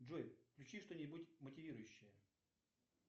джой включи что нибудь мотивирующее